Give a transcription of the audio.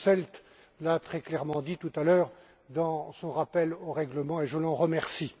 Posselt l'a très clairement dit tout à l'heure dans son rappel au règlement, et je l'en remercie.